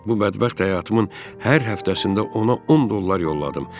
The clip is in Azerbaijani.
Bu bədbəxt həyatımın hər həftəsində ona 10 dollar yolladım.